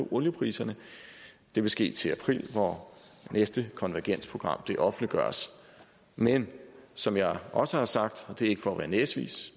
oliepriserne det vil ske til april hvor næste konvergensprogram offentliggøres men som jeg også har sagt og det er ikke for at være næsvis